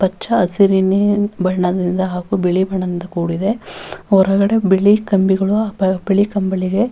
ಹಚ್ಚ ಹಸಿರಿನ ಬಣ್ಣದಿಂದ ಹಾಗು ಬಿಳಿ ಬಣ್ಣದಿಂದ ಕೂಡಿದೆ ಹೊರಗಡೆ ಬಿಳಿ ಕಂಬಿ ಗಳು ಹಾಗು ಬಿಳಿ ಕಂಬಳಿಗೆ.